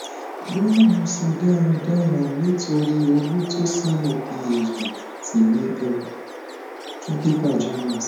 boya mo se daradara nitori olutosana phd ti mi gan fun papers journals